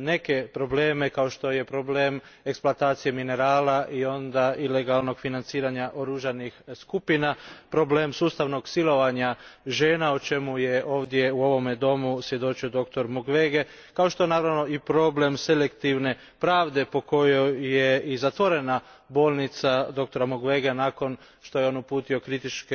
neke probleme, kao što je problem eksploatacije minerala, ilegalnih financiranja oružanih skupina, problem sustavnog silovanja žena o čemu je ovdje u ovome Domu svjedočio doktor Mukwege, kao što je naravno i problem selektivne pravde po kojoj je i zatvorena bolnica doktora Mukwege nakon što je uputio kritičke